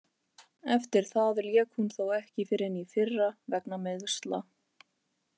Eftir það lék hún þó ekki fyrr en í fyrra vegna meiðsla.